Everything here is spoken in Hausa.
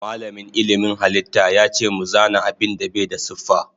Malamin ilmin halitta yace mu zana abinda Bai da siffa.